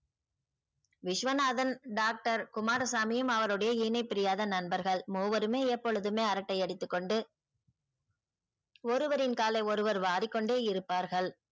Viswanathan doctor குமாரசாமியும் அவருடைய இணைபிரியாத நண்பர்கள் மூவருமே எப்பொழுதுமே அரட்டை அடித்துக்கொண்டு ஒருவரின் காலை ஒருவர் வாரிக்கொண்டே இருப்பார்கள்.